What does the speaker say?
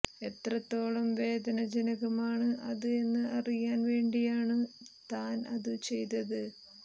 എത്രത്തോളം വേദന ജനകമാണ് അത് എന്ന് അറിയാൻ വേണ്ടിയാണു താൻ അതു ചെയ്തത്